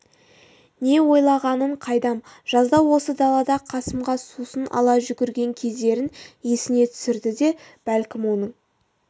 не ойлағанын қайдам жазда осы далада қасымға сусын ала жүгірген кездерін есіне түсірді ме бәлкім оның